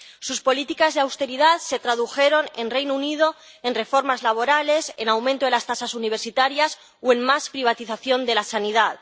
Sus políticas de austeridad se tradujeron, en el Reino Unido, en reformas laborales, en aumento de las tasas universitarias o en más privatización de la sanidad.